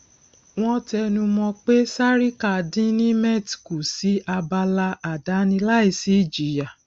wọn tẹnumọ pé sarika dín nimet kù sí abala àdáni láì sí ìjìyà